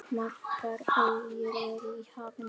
Margar eyjar eru í hafinu.